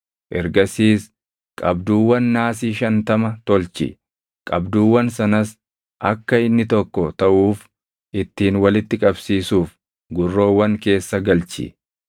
Ergasiis qabduuwwan naasii shantama tolchi; qabduuwwan sanas akka inni tokko taʼuuf ittiin walitti qabsiisuuf gurroowwan keessa galchi.